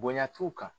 Bonya t'u kan